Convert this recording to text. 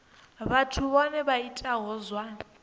vhathu vhohe vha itaho zwa